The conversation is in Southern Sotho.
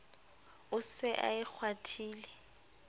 o se a e kgwathile